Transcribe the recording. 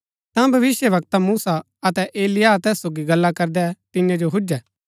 ता भविष्‍यवक्ता मूसा अतै एलिय्याह तैस सोगी गल्ला करदै तियां जो हूजे